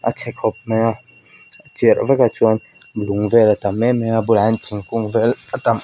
chhe khawp mai a chirh vek a chuan lung vel a tam emem a a bulah hian thingkung vel --